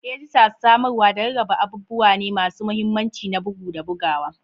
Edita, samarwa, da rarraba abubuwa ne masu mahimmanci na bugu da bugawa.